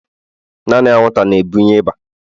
naanị anwụnta na-ebunye ịba